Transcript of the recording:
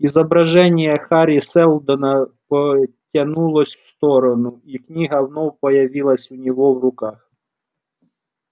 изображение хари сэлдона потянулось в сторону и книга вновь появилась у него в руках